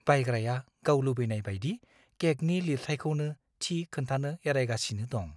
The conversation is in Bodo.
बायग्राया गाव लुबैनाय बायदि केकनि लिरथाइखौनो थि खोन्थानो एरायगासिनो दं।